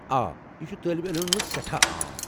آ، یہ چھ طٲلبہ علمن منٛز سٮ۪ٹھاہ عام۔